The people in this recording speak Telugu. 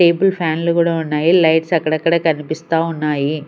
టేబుల్ ఫ్యాన్లు కూడా ఉన్నాయి లైట్స్ కనిపిస్తా ఉన్నాయి.